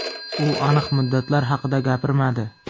U aniq muddatlar haqida gapirmadi.